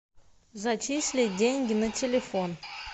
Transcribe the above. зачислить деньги на телефон